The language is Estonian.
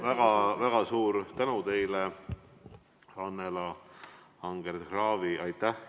Väga-väga suur tänu teile, Annela Anger-Kraavi!